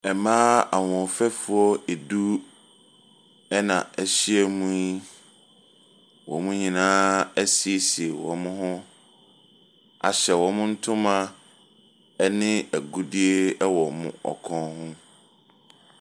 Mmaa ahoɔfɛfoɔ edu ɛna ɛhyia mu yi. Wɔn nyinaa ɛsiesie wɔn ho ahyɛ wɔn ntoma ɛne ɛgudie ɛwɔ wɔkɔn ho.